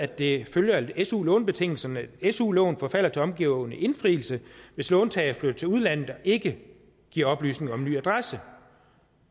det følger af su lånebetingelserne at su lån forfalder til omgående indfrielse hvis låntager flytter til udlandet og ikke giver oplysning om en ny adresse